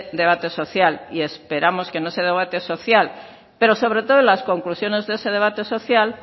debate social y esperamos que en ese debate social pero sobre todo en las conclusiones de ese debate social